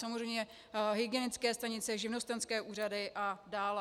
Samozřejmě hygienické stanice, živnostenské úřady a dále.